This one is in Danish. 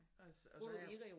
Og så jeg